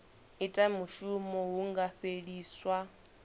ita mushumo hu nga fheliswa